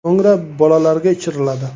So‘ngra bolalarga ichiriladi.